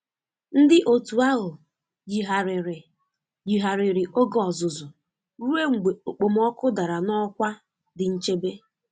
Ndị otu ahụ yigharịrị yigharịrị oge ọzụzụ ruo mgbe okpomọkụ dara n'ọkwa dị nchebe.